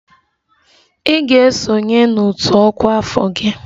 Ị ga-esonye n'otu ọkwa afọ gị!